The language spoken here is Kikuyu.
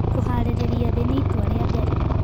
Kũharĩrĩrĩa thĩĩ nĩ ĩtũa rĩa mbere